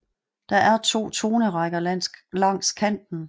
Der er to tonerækker langs kanten